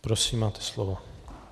Prosím, máte slovo.